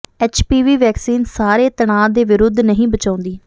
H P V vaccine ਸਾਰੇ ਤਣਾਅ ਦੇ ਵਿਰੁੱਧ ਨਹੀਂ ਬਚਾਉਂਦੀ